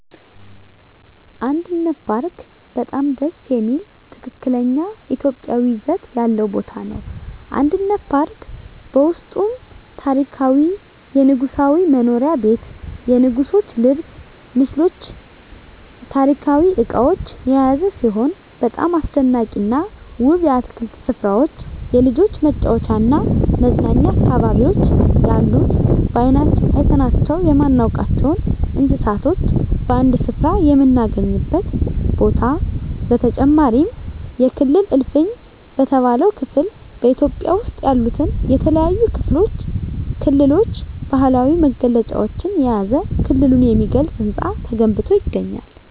አንድነት ፓርክ በጣም ደስ የሚል ትክክለኛ ኢትዮጵያዊ ይዘት ያለው ቦታ ነው። አንድነት ፓርክ በውስጡም ታሪካዊ የንጉሣዊ መኖሪያ ቤት የንጉሥች ልብስ ምስሎች ታሪካዊ እቃዎች የያዘ ሲሆን በጣም አስደናቂና ውብ የአትክልት ስፍራዎች የልጆች መጫወቻና መዝናኛ አካባቢዎች ያሉት በአይናችን አይተናቸው የማናውቃቸውን እንስሳቶች በአንድ ስፍራ የምናገኝበት ቦታ በተጨማሪም የክልል እልፍኝ በተባለው ክፍል በኢትዮጵያ ውስጥ ያሉትን የተለያዩ ክልሎች ባህላዊ መገለጫዎችን የያዘ ክልሉን የሚገልጽ ህንፃ ተገንብቶ ይገኛል።